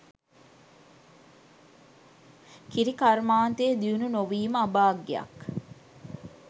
කිරි කර්මාන්තය දියුණු නොවීම අභාග්‍යයක්.